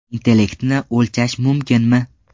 Intellektni o‘lchash mumkinmi?.